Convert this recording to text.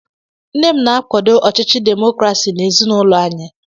Nne m na-akwado ọchịchị demokrasi n'ezinụlọ anyị.